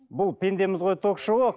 бұл пендеміз ғой ток шоуы